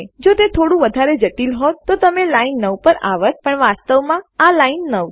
જો તે થોડું વધારે જટિલ હોત તો તમે લાઈન 9 પર આવત પણ વાસ્તવમાં આ લાઈન 9 છે